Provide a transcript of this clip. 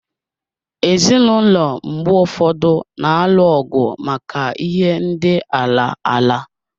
Ezinụlọ mgbe ụfọdụ na-alụ ọgụ maka ihe ndị ala ala.